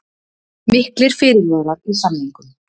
Miklir fyrirvarar í samningnum